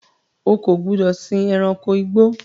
O kò gbúdọ̀ sìn ẹranko igbó!